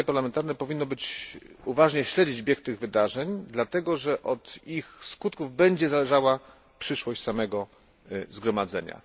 Zgromadzenie Parlamentarne powinno uważnie śledzić bieg tych wydarzeń, dlatego że od ich skutków będzie zależała przyszłość samego Zgromadzenia.